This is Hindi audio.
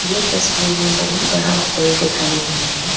ये तस्वी में बहुत बड़ा हॉल दिखाई दे रहे हैं।